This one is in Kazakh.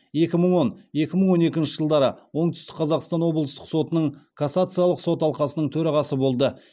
екі мың он екі мың он екінші жылдары оңтүстік қазақстан облыстық сотының кассациялық сот алқасының төрағасы болды